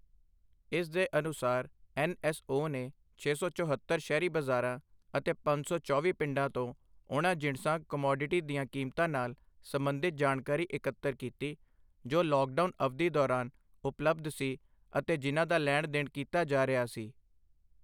ਇਸ ਦੇ ਅਨੁਸਾਰ ਐੱਨ ਐੱਸ ਓ ਨੇ ਛੇ ਸੌ ਚੁਹੌਤਰ ਸ਼ਹਿਰੀ ਬਾਜ਼ਾਰਾਂ ਅਤੇ ਪੰਜ ਸੌ ਚੌਵੀਂ ਪਿੰਡਾਂ ਤੋਂ ਉਨ੍ਹਾਂ ਜਿਣਸਾਂ ਕਮੌਡਿਟੀ ਦੀਆਂ ਕੀਮਤਾਂ ਨਾਲ ਸਬੰਧਿਤ ਜਾਣਕਾਰੀ ਇਕੱਤਰ ਕੀਤੀ, ਜੋ ਲੌਕਡਾਊਨ ਅਵਧੀ ਦੌਰਾਨ ਉਪਲਬਧ ਸੀ ਅਤੇ ਜਿਨ੍ਹਾਂ ਦਾ ਲੈਣ ਦੇਣ ਕੀਤਾ ਜਾ ਰਿਹਾ ਸੀ।